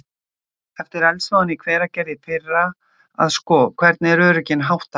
Eftir eldsvoðann í Hveragerði í fyrra að sko, hvernig er örygginu háttað hérna?